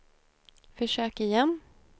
försök igen